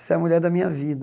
Essa é a mulher da minha vida.